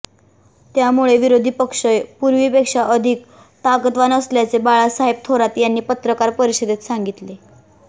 त्यामुळे विरोधी पक्ष पूर्वीपेक्षा अधिक ताकदवान बनल्याचे बाळासाहेब थोरात यांनी पत्रकार परिषदेत सांगितले